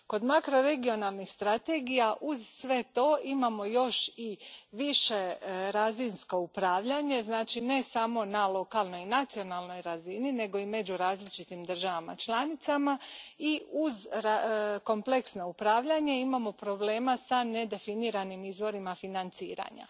Kod makroregionalnih strategija, uz sve to imamo još i višerazinsko upravljanje, znači ne samo na lokalnoj i nacionalnoj razini, nego i među različitim državama članicama, i uz kompleksno upravljanje imamo problema sa nedefiniranim izvorima financiranja.